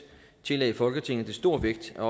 tillagde folketinget det stor vægt at